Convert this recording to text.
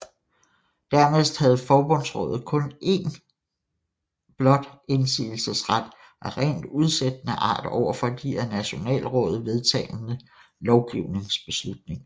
Dernæst havde forbundsrådet kun en blot indsigelsesret af rent udsættende art over for de af nationalrådet vedtagne lovgivningsbeslutninger